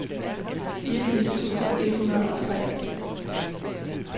fireogfirs tusind et hundrede og tre